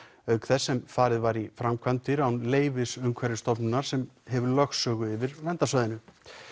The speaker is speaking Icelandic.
auk þess sem farið var í framkvæmdirnar án leyfis frá Umhverfisstofnun sem hefur lögsögu yfir verndarsvæðinu